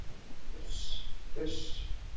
Uss, uss.